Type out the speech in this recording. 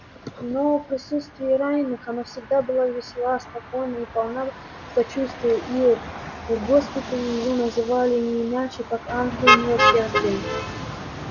но в присутствии раненых она всегда была весела спокойна и полна сочувствия и в госпитале её называли не иначе как ангел милосердия